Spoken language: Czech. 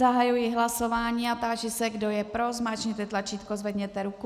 Zahajuji hlasování a táži se, kdo je pro, zmáčkněte tlačítko, zvedněte ruku.